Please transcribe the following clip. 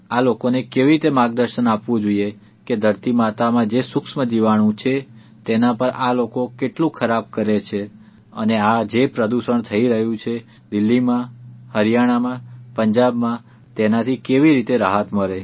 આ લોકોને કેવી રીતે માર્ગદર્શન આપવું જોઇએ કે ધરતીમાતામાં જે સુક્ષ્મ જીવાણુ છે તેના પર આ લોકો કેટલું ખરાબ કરે છે અને આ જે પ્રદૂષણ થઇ રહ્યું છે દિલ્હીમાં હરિયાણામાં પંજાબમાં તેનાથી કેવી રીતે રાહત મળે